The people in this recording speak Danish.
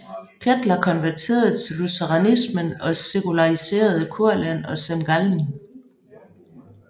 Kettler konverterede til lutheranismen og sekulariserede Kurland og Semgallen